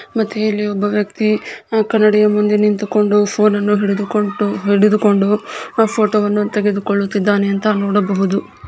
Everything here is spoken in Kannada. ಮತ್ತೆ ಇಲ್ಲಿ ಒಬ್ಬ ವ್ಯಕ್ತಿ ಕನ್ನಡಿ ಮುಂದೆ ನಿಂತುಕೊಂಡು ಫೋನ ನ್ನು ಹಿಡಿದುಕೊಂದು ಹಿಡಿದುಕೊಂಡು ಆ ಫೋಟೋ ವನ್ನು ತೆಗೆದುಕೊಳ್ಳುತಿದ್ದಾನೆ ಅಂತ ನೋಡಬಹುದು .